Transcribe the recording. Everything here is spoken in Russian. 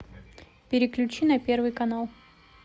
переключи на первый канал